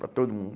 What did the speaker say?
Para todo mundo.